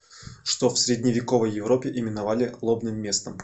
что в средневековой европе именовали лобным местом